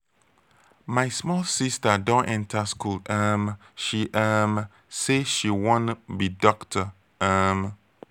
my small sister don enta school um she um sey she wan be doctor. um